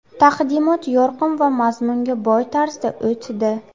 Taqdimot yorqin va mazmunga boy tarzda o‘tdi.